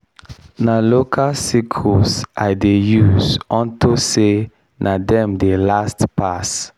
na local sickles i dey use unto say na dem dey last pass.